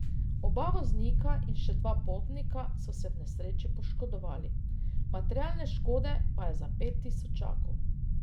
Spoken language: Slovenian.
Oba voznika in še dva potnika so se v nesreči poškodovali, materialne škode pa je za pet tisočakov.